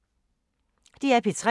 DR P3